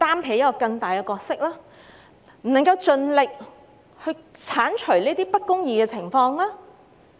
為何政府不能夠盡力剷除不公義的情況？